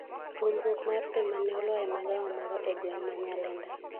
ruombruok mar pee mane olwar e magawa moro e gweng' ma Nyalenda